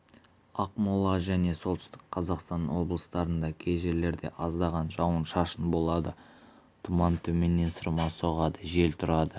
ақмола және солтүстік қазақстан облыстарында кей жерлерде аздаған жауын-шашын болады тұман төменнен сырма соғады жел тұрады